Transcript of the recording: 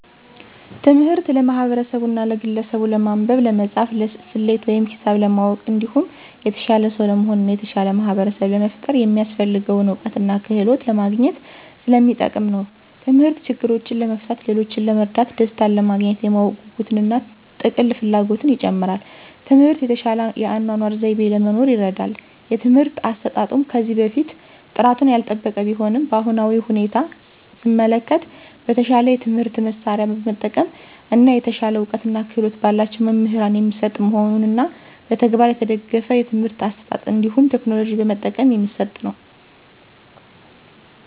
ትምህርት ለማህበርሰቡና ለግለሰቡች ለማንበብ፣ ለመፃፍና፣ ሰሌት ወይም ሂሳብ ለማወቅ እንዲሁም የተሻለ ሰው ለመሆን እና የተሻለ ማህበርሰብ ለመፍጠር የሚያሰፍልገውን እውቀትና ክህሎት ለማግኝት ሰለሚጠቅም ነው። ተምህርት ችግሮችን ለመፍታት፣ ሌሎችን ለመርዳት፣ ደሰታንለማግኘት፣ የማወቅ ጉጉትን እና ጥልቅ ፍላጎትን ይጨምራል። ትምህርት የተሻለ የአኗኗር ዘይቤ ለመኖር ይርዳል። የትምህርት አሰጣጡም ከዚህ በፊት ጥራቱን ያልጠበቀ ቢሆንም በአሁናዊ ሁኔታ ሰመለከት በተሻለ የትምህርት መሳርያ በመጠቀም እና የተሻለ እውቀትና ክህሎት በላቸው መምህራን የሚሰጥ መሆኑንና በተግባር የተደገፍ የትምህርት አሰጣጥ እንዲሁም ቴክኖሎጂ በመጠቀም የሚሰጥ ነው።